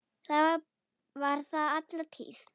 Það var þar alla tíð.